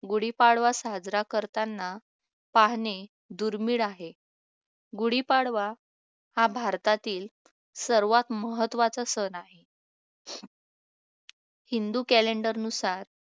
गुढीपाडवा साजरा करताना पाहणे दुर्मिळ आहे गुढीपाडवा हा भारतातील सर्वात महत्त्वाचा सण आहे हिंदू calender नुसार